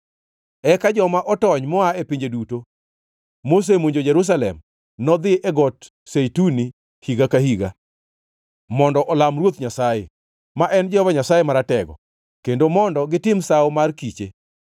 Eka joma otony moa e pinje duto mosemonjo Jerusalem nodhi e got zeituni higa ka higa mondo olam Ruoth Nyasaye, ma en Jehova Nyasaye Maratego, kendo mondo gitim Sawo mar Kiche.